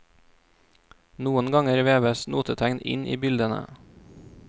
Noen ganger veves notetegn inn i bildene.